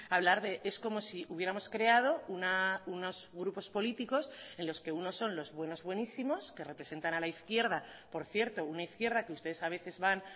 hablar de es como si hubiéramos creado unos grupos políticos en los que unos son los buenos buenísimos que representan a la izquierda por cierto una izquierda que ustedes a veces van